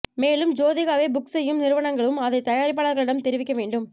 மேலும் ஜோதிகாவை புக் செய்யும் நிறுவனங்களும் அதை தயாரிப்பாளர்களிடம் தெரிவிக்க வேண்டும்